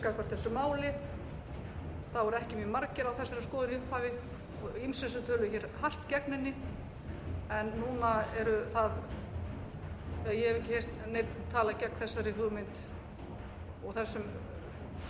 gagnvart þessu máli það voru ekki mjög margir á þessari skoðun í upphafi og ýmsir sem töluðu mjög hart gegn henni en núna eru það eða ég hef ekki heyrt neinn tala gegn þessari hugmynd og þessari